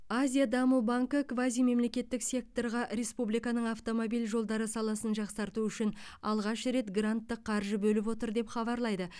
азиа даму банкі квазимемлекеттік секторға республиканың автомобиль жолдары саласын жақсарту үшін алғаш рет гранттық қаржы бөліп отыр деп хабарлайды